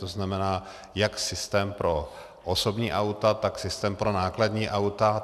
To znamená jak systém pro osobní auta, tak systém pro nákladní auta.